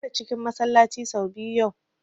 Na share cikin Masallaci sau biyu yau